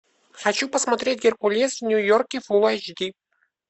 хочу посмотреть геркулес в нью йорке фулл эйч ди